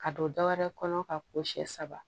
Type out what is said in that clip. Ka don dɔwɛrɛ kɔnɔ ka ko siɲɛ saba